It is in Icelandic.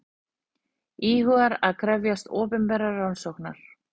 Íhugar að krefjast opinberrar rannsóknar